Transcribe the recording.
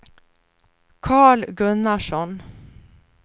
Carl Gunnarsson